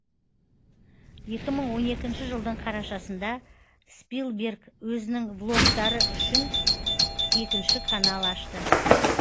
екі мың он екінші жылдың қарашасында спилберг өзінің влогтары үшін екінші канал ашты